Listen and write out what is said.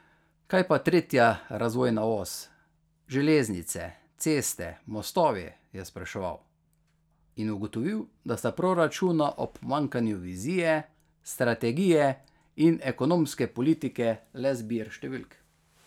Kaj pa tretja razvojna os, železnice, ceste, mostovi, je spraševal in ugotovil, da sta proračuna ob pomanjkanju vizije, strategije in ekonomske politike le zbir številk.